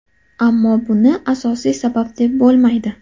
Ammo buni asosiy sabab deb bo‘lmaydi.